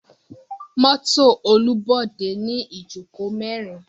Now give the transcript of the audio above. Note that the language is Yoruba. Mọto Olubode ni ijoko merin.